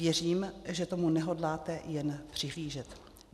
Věřím, že tomu nehodláte jen přihlížet.